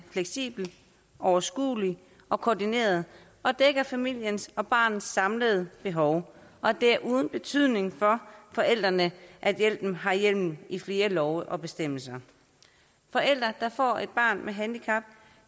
fleksibel overskuelig og koordineret og dækker familien og barnets samlede behov og at det er uden betydning for forældrene at hjælpen har hjemmel i flere love og bestemmelser forældre der får et barn med handicap